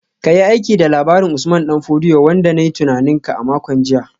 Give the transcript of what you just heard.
Ka yi aiki da labarin Usman Dan Fodio wanda na yi tunanin ka a makon jiya